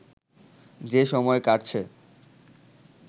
যে সময় কাটছে